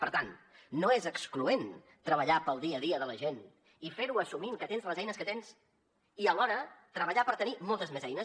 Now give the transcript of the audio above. per tant no és excloent treballar per al dia a dia de la gent i ferho assumint que tens les eines que tens i alhora treballar per tenir moltes més eines